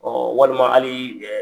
Ɔn walima hali